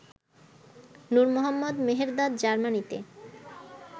Nur Mohammad Mehrdad জার্মানিতে